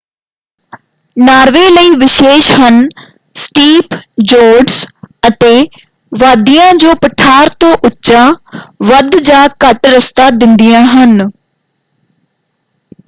Norway ਲਈ ਵਿਸ਼ੇਸ਼ ਹਨ ਸਟੀਪ ਜੋਰਡਜ਼ ਅਤੇ ਵਾਦੀਆਂ ਜੋ ਪਠਾਰ ਤੋਂ ਉੱਚਾ ਵੱਧ ਜਾਂ ਘੱਟ ਰਸਤਾ ਦਿੰਦੀਆਂ ਹਨ।